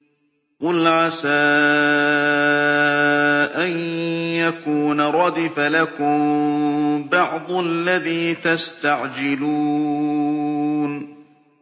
قُلْ عَسَىٰ أَن يَكُونَ رَدِفَ لَكُم بَعْضُ الَّذِي تَسْتَعْجِلُونَ